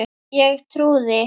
Ég trúði.